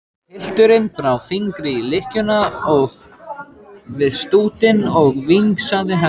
Pilturinn brá fingri í lykkjuna við stútinn og vingsaði henni.